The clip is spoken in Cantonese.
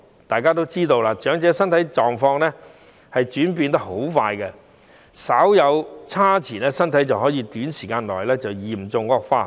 大家也知道，長者的身體狀況轉變得相當快，稍一不慎身體便有可能在短時間內嚴重惡化。